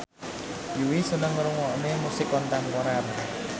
Yui seneng ngrungokne musik kontemporer